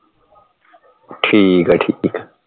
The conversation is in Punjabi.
ਠੀਕ ਹੈ ਠੀਕ ਹੈ